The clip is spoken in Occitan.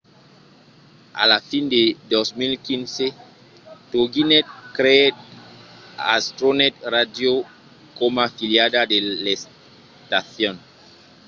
a la fin de 2015 toginet creèt astronet radio coma filiala de l'estacion